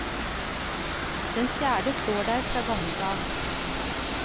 Den fjerde står der fra gammelt av.